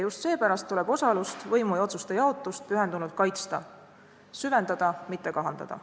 Just seepärast tuleb osalust, võimu ja otsuste jaotust pühendunult kaitsta; süvendada, mitte kahandada.